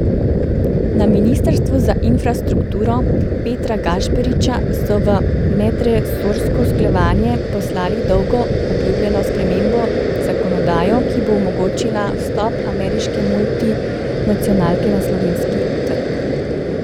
Na ministrstvu za infrastrukturo Petra Gašperšiča so v medresorsko usklajevanje poslali dolgo obljubljeno spremembo zakonodajo, ki bo omogočila vstop ameriške multinacionalke na slovenski trg.